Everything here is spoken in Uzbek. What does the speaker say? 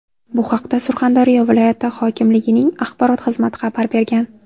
Bu haqda Surxondaryo viloyati hokimligining axborot xizmati xabar bergan.